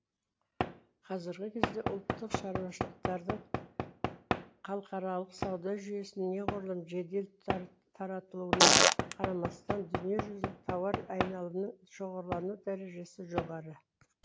қазіргі кезде ұлттық шаруашылықтардың халыкаралық сауда жүйесіне неғұрлым жедел таратылуына қарамастан дүниежүзілік тауар айналымының шоғырлану дәрежесі жоғары